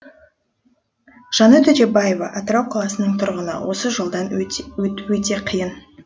жанат өтебаева атырау қаласының тұрғыны осы жолдан өту өте қиын